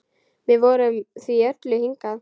Við komum því öllu hingað.